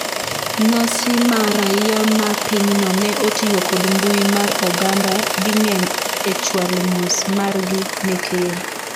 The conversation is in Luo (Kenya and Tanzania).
nyasi ma raia ma pinyno ne otiyo kod mbui mar oganda ding'eny e chwalo mos margi ne ker